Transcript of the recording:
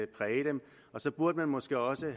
præge dem og så burde man måske også